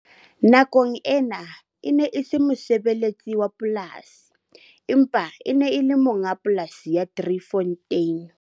Nakong ena, e ne e se mosebeletsi wa polasi, empa e ne e le monga polasi ya Driefontein.